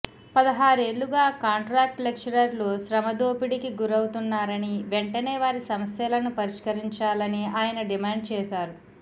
పదహారేళ్లుగా contract లెక్చరర్లు శ్రమదోపిడికి గురవుతున్నారని వెంటనే వారి సమస్యలను పరిష్కరించాలని ఆయన డిమాండ్ చేశారు